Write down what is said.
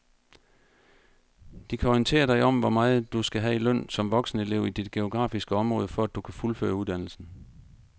De kan orientere dig om hvor meget du skal have i løn som voksenelev i dit geografiske område, for at du kan fuldføre uddannelsen.